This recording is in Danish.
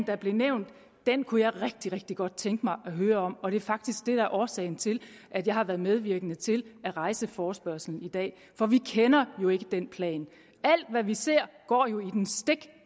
der blev nævnt kunne jeg rigtig rigtig godt tænke mig at høre om og det er faktisk det der er årsagen til at jeg har været medvirkende til at rejse forespørgslen i dag for vi kender jo ikke den plan alt hvad vi ser går jo i den stik